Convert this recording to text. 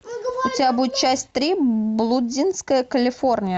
у тебя будет часть три блудливая калифорния